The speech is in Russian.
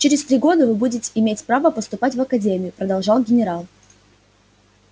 через три года вы будете иметь право поступать в академию продолжал генерал